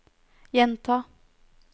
gjenta